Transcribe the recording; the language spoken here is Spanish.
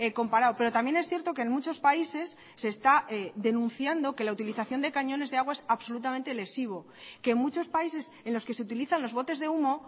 comparado pero también es cierto que en muchos países se está denunciando que la utilización de cañones de agua es absolutamente lesivo que en muchos países en los que se utilizan los botes de humo